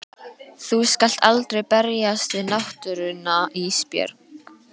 Þú skalt aldrei berjast við náttúruna Ísbjörg.